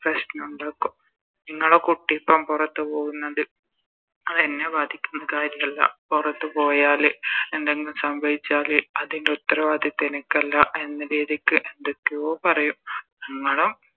പ്രശ്നണ്ടാക്കും നിങ്ങളെ കുട്ടിപ്പോ പൊറത്ത് പോകുന്നത് അതെന്നെ ബാധിക്കുന്ന കാര്യല്ല പൊറത്ത് പോയാല് എന്തെങ്കും സംഭവിച്ചാല് അതിൻറെ ഉത്തരവാദിത്വം എനക്കല്ല എന്ന രീതിക്ക് എന്തൊക്കയോ പറയും